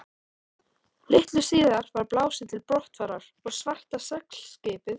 Litlu síðar var blásið til brottfarar og svarta seglskipið